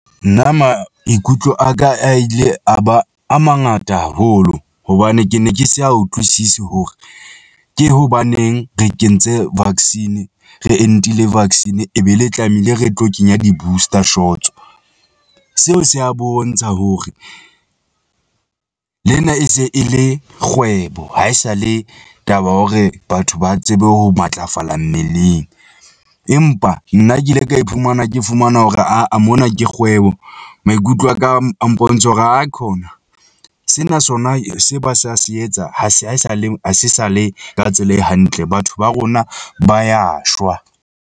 Nna maikutlo a ka a ile a ba a mangata haholo hobane ke ne ke sa utlwisisi hore ke hobaneng re kentse vaccine re entile vaccine e be le tlamehile re tlo kenya di-booster shots-o. Seo se a bontsha hore lena e se e le kgwebo, haesale taba ya hore batho ba tsebe ho matlafala mmeleng, empa nna ke ile ka iphumana ke fumana hore aa mona ke kgwebo. Maikutlo a ka a mpontsha hore aikhona sena sona, se ba sa se etsa, ha se a sa le ha se sa le ka tsela e hantle, batho ba rona ba ya shwa.